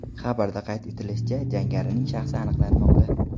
Xabarda qayd etilishicha, jangarining shaxsi aniqlanmoqda.